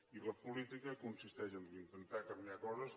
i la política consisteix doncs a intentar canviar coses